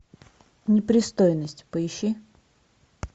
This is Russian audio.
непристойность поищи